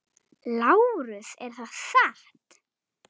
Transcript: LÁRUS: Er það satt?